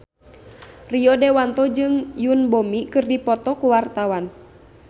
Rio Dewanto jeung Yoon Bomi keur dipoto ku wartawan